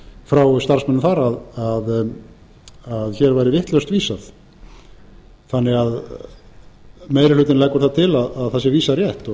sem bar þau boð frá starfsmönnum þar að hér væri vitlaust vísað þannig að meiri hlutinn leggur það til að vísað sé rétt